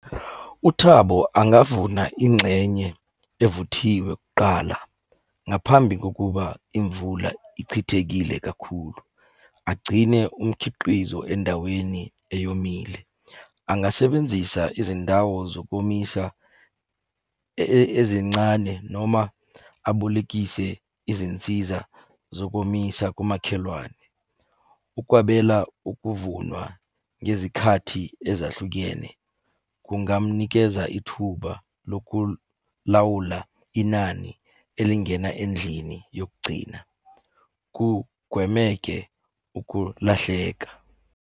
UThabo angavuna ingxenye evuthiwe kuqala ngaphambi kokuba imvula ichithekile kakhulu. Agcine umkhiqizo endaweni eyomile. Angasebenzisa izindawo zokomisa ezincane noma abolekise izinsiza zokomisa kumakhelwane. Ukwabela ukuvunwa ngezikhathi ezahlukene kungamunikeza ithuba lokulawula inani elingena endlini yokugcina, kugwemeke ukulahleka.